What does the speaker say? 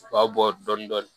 U ka bɔ dɔɔnin dɔɔnin